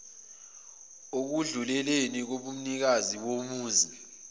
ekwedluleleni kobunikazi bomuzi